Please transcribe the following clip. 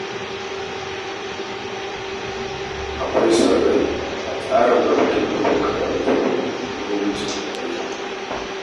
Akwai son rai atsarin raba tallafin karatu na gwamnatin tarayya